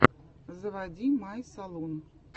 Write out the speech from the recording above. заводи май салун